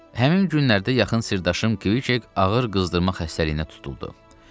Həmin günlərdə yaxın sirdaşım Kviçek ağır qızdırma xəstəliyinə tutuldu.